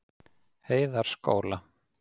Heiðarskóla